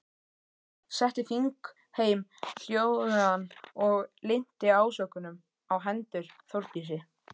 Setti þingheim hljóðan og linnti ásökunum á hendur Þórdísi.